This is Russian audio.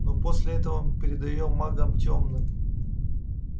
но после этого мы передаём магам тёмным